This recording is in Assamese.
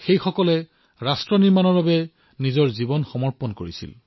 তেওঁলোকে ৰাষ্ট্ৰৰ নিৰ্মাণৰ বাবে নিজৰ জীৱন সমৰ্পিত কৰিছে